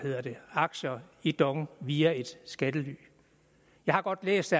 aktier i dong via et skattely jeg har godt læst